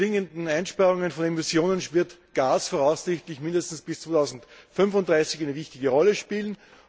Durch die zwingenden Einsparungen von Emissionen wird Gas voraussichtlich mindestens bis 2035 eine wichtige Rolle spielen.